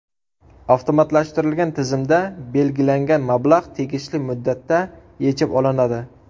Avtomatlashtirilgan tizimda belgilangan mablag‘ tegishli muddatda yechib olinadi.